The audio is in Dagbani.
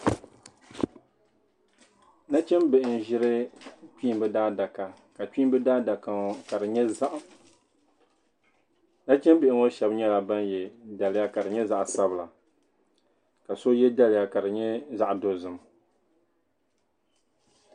Nachimbihi n ʒiri kpiimba daa daka ka kpiimba daa daka ŋɔ ka di nyɛ zaɣim nachimbihi ŋɔ shab nyɛla ban ye daliya ka di nyɛ zaɣ'sabila ka so ye daliya ka di nyɛ zaɣ'dozim.